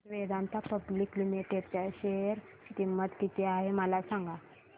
आज Vedanta public limited च्या share ची किंमत किती आहे मला सांगा